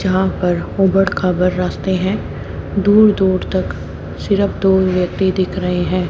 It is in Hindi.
जहां पर ऊबड़ खाबड़ रास्ते हैं दूर दूर तक सिरफ दो व्यक्ति दिख रहे हैं।